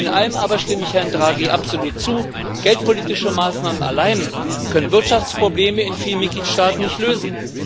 In einem aber stimme ich Herrn Draghi absolut zu Geldpolitische Maßnahmen allein können Wirtschaftsprobleme in vielen Mitgliedstaaten nicht lösen.